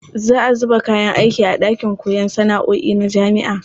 Za a zuba kayan aiki a ɗakin koyon sana'o'i na jami'a.